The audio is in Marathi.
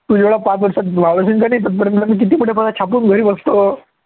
तू जेवढा पाच वर्षात तोपर्यंत मी किती मोठे पैसे छापून घरी बसतो.